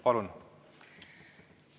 Palun!